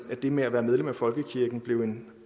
det med at være medlem af folkekirken blev en